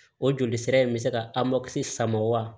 O joli sira in bɛ se ka sama wa